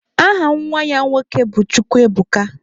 Aha nwa ya nwoke bụ Chukwuebuka.